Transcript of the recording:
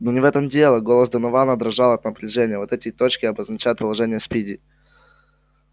но не в этом дело голос донована дрожал от напряжения вот эти точки обозначают положение спиди